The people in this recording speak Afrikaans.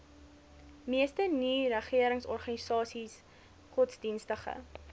meeste nieregeringsorganisasies godsdienstige